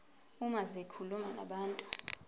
uma zikhuluma nabantu